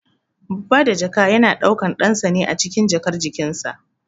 Babba da jaka yana daukan ɗansa ne acikin jakar cikinsa.